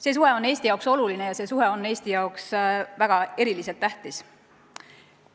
See suhe on Eestile oluline ja see suhe on Eestile eriliselt tähtis.